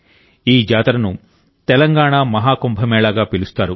ఈ జాతరను తెలంగాణ మహాకుంభమేళాగా పిలుస్తారు